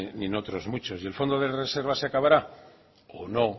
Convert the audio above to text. ni en otros muchos y el fondo de reserva se acabará o no